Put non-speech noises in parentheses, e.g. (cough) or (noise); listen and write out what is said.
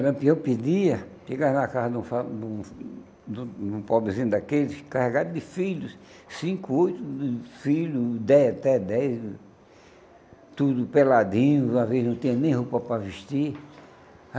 Lampião pedia, chegar na casa de um (unintelligible) de um de um pobrezinho daqueles, carregado de filhos, cinco, oito filhos, dez até dez, tudo peladinho, uma vez não tinha nem roupa para vestir.